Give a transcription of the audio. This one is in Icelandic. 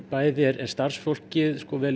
bæði er starfsfólk vel